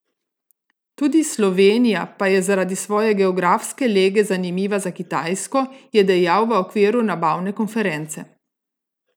Tudi Slovenija pa je zaradi svoje geografske lege zanimiva za Kitajsko, je dejal v okviru Nabavne konference.